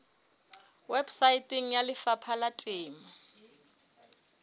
weposaeteng ya lefapha la temo